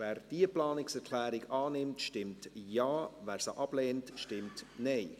Wer die Planungserklärung 11 der SiK annehmen will, stimmt Ja, wer diese ablehnt, stimmt Nein.